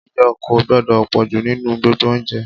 iyọ̀ kò gbọ́dọ̀ pọ̀jù nínú gbogbo oúnjẹ